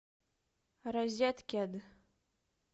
розеткед